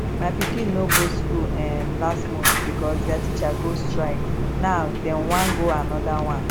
my pikin no go school um last month because dia teachers go strike now dem wan go another one